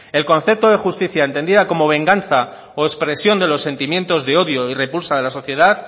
el concepto de justicia entendida como venganza o expresión de los sentimientos de odio y repulsa de la sociedad